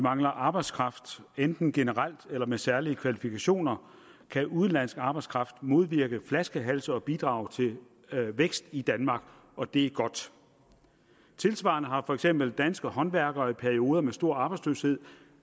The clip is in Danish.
mangler arbejdskraft enten generel eller med særlige kvalifikationer kan udenlandsk arbejdskraft modvirke flaskehalse og bidrage til vækst i danmark og det er godt tilsvarende har for eksempel danske håndværkere i perioder med stor arbejdsløshed